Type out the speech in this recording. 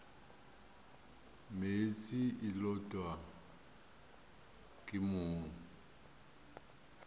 meetse e lotwa ke mong